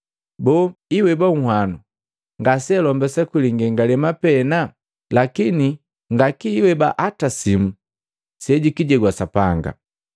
“Boo iweba nhwanu ngase alombesa kwi lingengalema pena? Lakini nga kiweba hata simu sejukijegwa Sapanga.